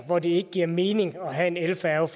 hvor det ikke giver mening at have en elfærge